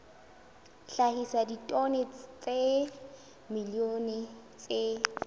hlahisa ditone tsa dimilione tse